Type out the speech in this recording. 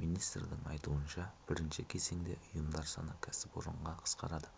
министрдің айтуынша бірінші кезеңде ұйымдар саны кәсіпорынға қысқарады